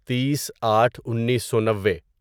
تیس آٹھ انیسو نوے